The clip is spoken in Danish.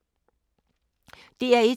DR1